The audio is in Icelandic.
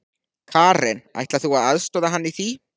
Karen: Ætlar þú að aðstoða hann í því?